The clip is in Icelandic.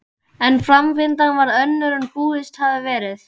En framvindan varð önnur en búist hafði verið við.